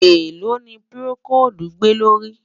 èlò ní procold gbè ló rí?